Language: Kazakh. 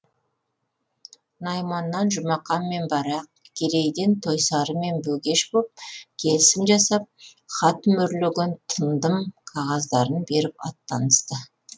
найманнан жұмақан мен барақ керейден тойсары мен бегеш боп келісім жасап хат мөрлеген тындым қағаздарын беріп аттанысты